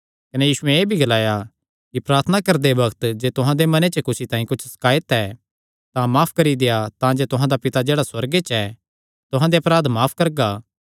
कने यीशुयैं एह़ भी ग्लाया कि प्रार्थना करदे बग्त जे तुहां दे मने च कुसी तांई कुच्छ शकायत ऐ तां माफ करी देआ तांजे तुहां दा पिता जेह्ड़ा सुअर्गे च ऐ तुहां दे अपराध माफ करगा